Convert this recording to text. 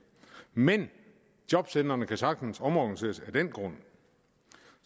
men jobcentrene kan sagtens omorganiseres af den grund